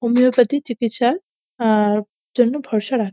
homeopathy চিকিৎসার আ জন্য ভরসা রাখ--